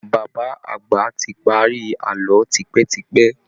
Bàbá àgbà ti parí àlọ́ tipẹ́ tipẹ́